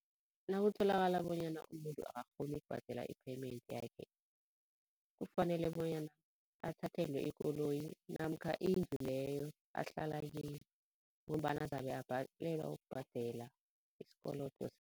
Nakutholakala bonyana umuntu akakghoni ukubhadela i-payment yakhe kufanele bonyana athathelwe ikoloyi namkha indlu leyo ahlala kiyo ngombana zabe abhalelwa ukubhadela isikolodo.